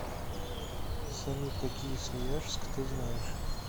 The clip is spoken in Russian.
салют какие свияжск ты знаешь